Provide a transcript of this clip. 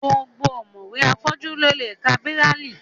Gbogbo ọ̀mọ̀wé afọ́jú ló lè ka bíráílì